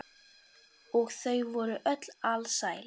Og þau voru öll alsæl.